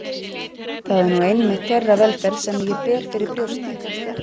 Það er nú einmitt þeirra velferð sem ég ber fyrir brjósti.